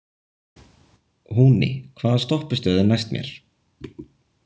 Húni, hvaða stoppistöð er næst mér?